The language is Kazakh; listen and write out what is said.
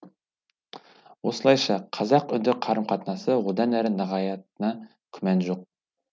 осылайша қазақ үнді қарым қатынасы одан әрі нығаятынына күмән жоқ